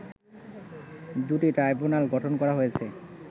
দুটি ট্রাইব্যুনাল গঠন করা হয়েছে